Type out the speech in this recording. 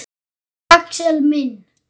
Elsku Axel minn.